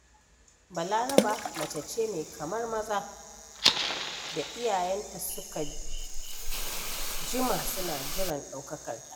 Balaraba mace ce mai kamar maza da iyayenta suka jima suna jiran ɗaukakarta.